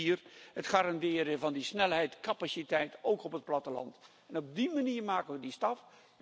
5. het garanderen van die snelheid, capaciteit, ook op het platteland. Op die manier maken we die stap.